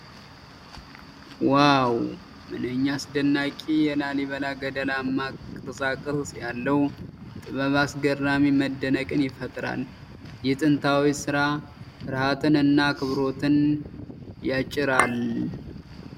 ዋው! ምንኛ አስደናቂ! የላሊበላ ገደላማ ቅርፃ ቅርፅ ያለው ጥበብ አስገራሚ መደነቅን ይፈጥራል። ይህ ጥንታዊ ስራ ፍርሃትን እና አክብሮትን ያጭራል ።